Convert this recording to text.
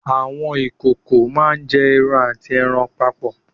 Àwọn ìkòkò máá ń jẹ egun àti ẹran papọ̀